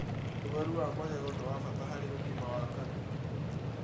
ũtheru wa magego nĩ wa bata harĩ ũgima wa kanua